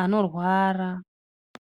anorwara.